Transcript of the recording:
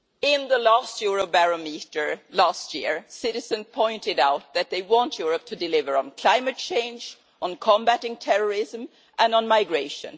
In the last Eurobarometer, last year, citizens pointed out that they want Europe to deliver on climate change, on combating terrorism, and on migration.